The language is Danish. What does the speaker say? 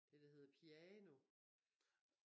Det der hedder piano